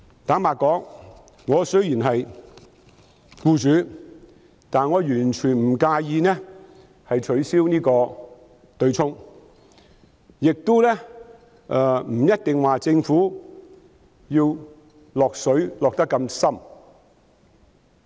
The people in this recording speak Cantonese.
坦白說，雖然我是一名僱主，但我完全不介意取消強積金對沖安排，亦認為政府不一定要"落水"落得這麼深。